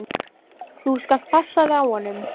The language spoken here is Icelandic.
Þú skalt passa þig á honum!